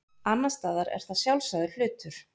annars staðar er það sjálfsagður hlutur